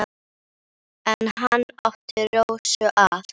En hann átti Rósu að.